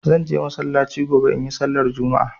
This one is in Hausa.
Zan je masallaci gobe in yi sallar Juma'a.